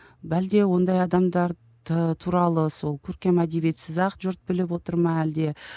ондай адамдар туралы сол көркем әдебиетсіз ақ жұрт біліп отыр ма әлде